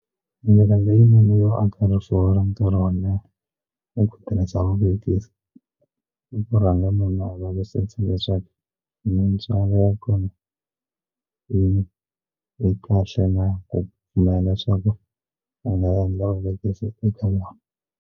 Ndlela leyinene yo aka rifuwo ra nkarhi wo leha i ku tirhisa vuvekisi i ku rhanga munhu a leswaku mintswalo ya kona yi yi kahle na ku pfumela swaku a nga ta endla vuvekisi eka .